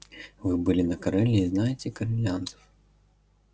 вы были на кореле и знаете корелианцев